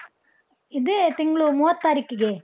ಇದೇ ತಿಂಗ್ಳು ಮೂವತ್ತು ತಾರೀಕಿಗೆ.